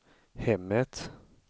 hemmet